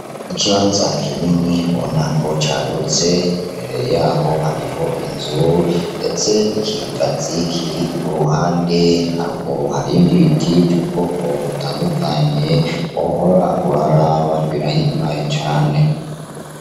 Ikibanza kinini ubonako cagutse ,imbere yaho hariho inzu ndetse n' ikigazi kiri k'uruhande, haruguru Hari ibindi biti vy'ubwoko butandukanye ,wohora uraraba birahimbaye cane.